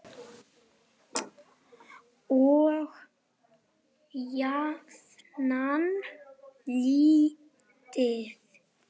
Og jafnan lítið.